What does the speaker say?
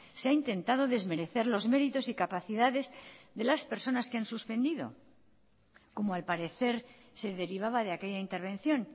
se ha intentado desmerecer los méritos y capacidades de las personas que han suspendido como al parecer se derivaba de aquella intervención